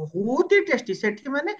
ବହୁତ ହିଁ testy ସେଠି ମାନେ